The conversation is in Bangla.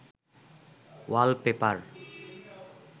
ওয়াল পেপার